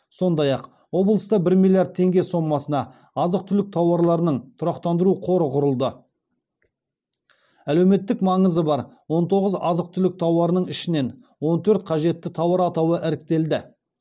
сондай ақ облыста бір миллиард теңге сомасына азық түлік тауарларының тұрақтандыру қоры құрылды әлеуметтік маңызы бар он тоғыз азық түлік тауарының ішінен он төрт қажетті тауар атауы іріктелді